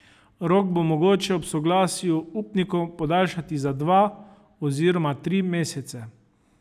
Rok bo mogoče ob soglasju upnikov podaljšati za dva oziroma tri mesece.